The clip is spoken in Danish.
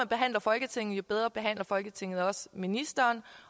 behandler folketinget jo bedre behandler folketinget også ministeren